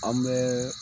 An bɛ